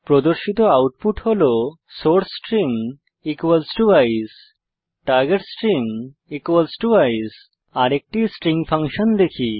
প্রদর্শিত আউটপুট হল source string আইসিই টার্গেট স্ট্রিং আইসিই আরেকটি স্ট্রিং ফাংশন দেখি